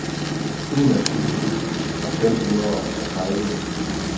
enogtyve tusind og femogtredive